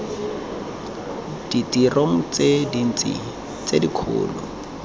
ditirong tse dintsi tse dikgolo